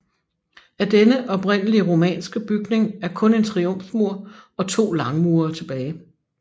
Af denne oprindelige romanske bygning er kun en triumfmur og to langmure tilbage